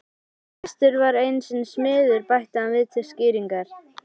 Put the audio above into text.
Kristur var einu sinni smiður bætti hann við til skýringar.